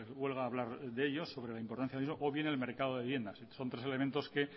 huelga a hablar de ellos sobre la importancia de eso o bien el mercado de viviendas son tres elementos que